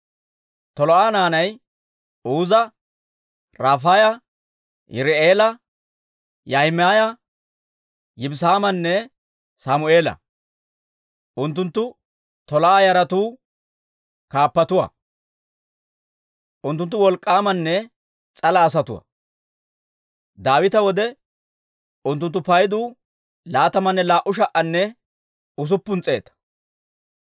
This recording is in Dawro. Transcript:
Tolaa'a naanay Uuza, Rafaaya, Yirii'eela, Yaahimaaya, Yibisaamanne Sammeela; unttunttu Tolaa'a yaratuu kaappatuwaa. Unttunttu wolk'k'aamanne s'ala asatuwaa. Daawita wode unttuntta paydu laatamanne laa"u sha"anne usuppun s'eeta.